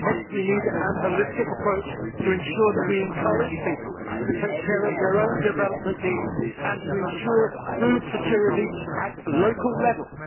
Hence, we need a holistic approach to ensure that we encourage people to take care of their own development needs and to ensure food security at local level.